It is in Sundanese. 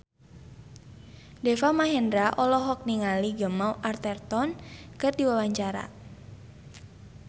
Deva Mahendra olohok ningali Gemma Arterton keur diwawancara